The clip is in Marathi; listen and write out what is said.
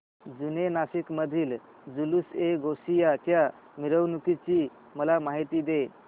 जुने नाशिक मधील जुलूसएगौसिया च्या मिरवणूकीची मला माहिती दे